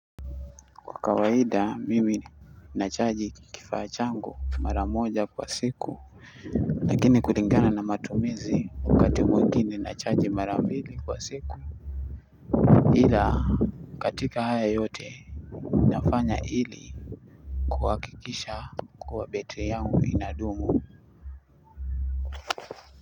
Kwa kawaida mimi nachaji kifa changu maramoja kwa siku lakini kulingana na matumizi wakati mwingine nachaji marambili kwa siku ila katika haya yote nafanya ili kuhakikisha kuwa betri yangu inadumu.